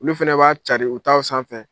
Olu fana b'a carin u taw sanfɛ.